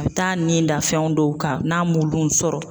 A be taa ni da fɛn dɔw kan n'a m'olu sɔrɔ